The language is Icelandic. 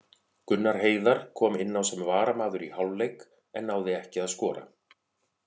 Gunnar Heiðar kom inná sem varamaður í hálfleik en náði ekki að skora.